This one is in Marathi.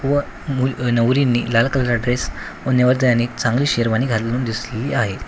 व मुल नवरीने लाल कलर ड्रेस व नवरदेवाने एक चांगली शेरवानी घालून दिसलेली आहे.